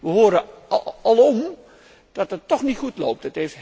Wij horen alom dat het toch niet goed loopt.